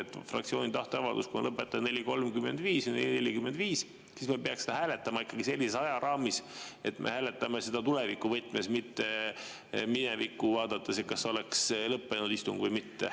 Kui fraktsiooni tahteavaldus on lõpetada 4.35 või 4.45, siis me peaksime seda hääletama ikkagi sellises ajaraamis, et me hääletame seda tulevikuvõtmes, mitte minevikku vaadates, et kas istung oleks lõppenud või mitte.